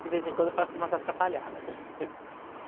De vez em quando eu faço umas atrapalhadas, né?